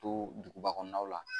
To duguba kɔnɔnaw la